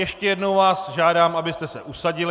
Ještě jednou vás žádám, abyste se usadili.